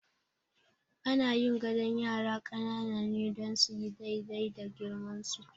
Ana yin gadon yara ƙanana ne don suyi daidai da girmansu.